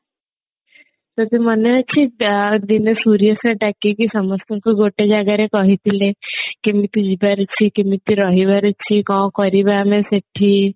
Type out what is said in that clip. ତୋର ମନେ ଅଛି ଦିନେ ସୂର୍ୟ sir ଡାକିକି ସମସ୍ତଙ୍କୁ ଗୋଟେ ଜାଗାରେ କହିଥିଲେ କେମିତି ଯିବାର ଅଛି କେମିତି ରହିବାର ଅଛି କଣ କରିବା ଆମେ ସେଠି